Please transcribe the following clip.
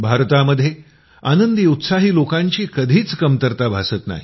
भारतामध्ये आनंदी उत्साही लोकांची कधीच कमतरता भासत नाही